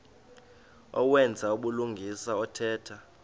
owenza ubulungisa othetha